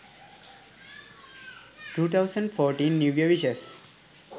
2014 new year wishes